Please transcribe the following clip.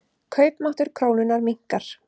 Kaupmáttur krónunnar minnkar.